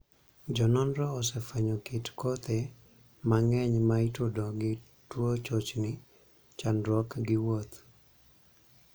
Jo nonro osefwenyo kit kothe mang'eny ma itudo gi tuo chochni (chandruok) gi wuoth.